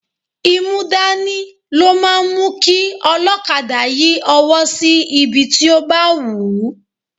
Imúdání ló máa ń mú kí olokada yí ọwọ́ sí ibi tí ó bá wù ú.